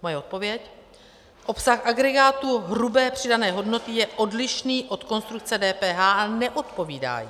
Moje odpověď: Obsah agregáru hrubé přidané hodnoty je odlišný od konstrukce DPH a neodpovídá jí.